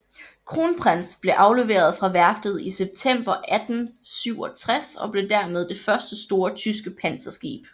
Kronprinz blev afleveret fra værftet i september 1867 og blev dermed det første store tyske panserskib